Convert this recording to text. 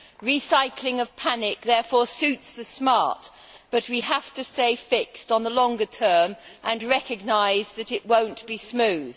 Recycling of panic therefore suits the smart, but we have to stay fixed on the longer term and recognise that it will not be smooth.